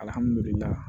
Alihamudulila